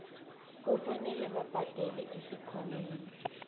kufanele babhadele esikhwameni